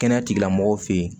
Kɛnɛya tigilamɔgɔw fɛ yen